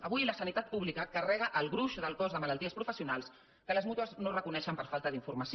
avui la sanitat pública carrega el gruix del cost de malalties professionals que les mútues no reconeixen per falta d’informació